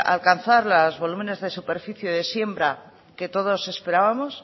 alcanzar los volúmenes de superficie de siembra que todos esperábamos